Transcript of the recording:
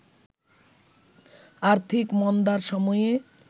আর্থিক মন্দার সময়ে